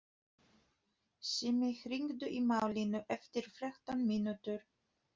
Simmi, hringdu í Malínu eftir þrettán mínútur.